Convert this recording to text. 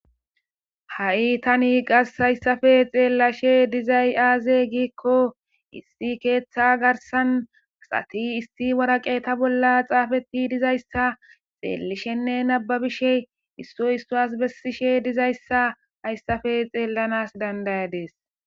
Ha tani hayssape xellashe dizayssi aaze giiko issi keththa garssan asi issi waraqqeta bollan xaffeti dizayssa xallishenne nabbabishe issoy issuwasi besishe dizayssa hayssape xellanas danda'adisse.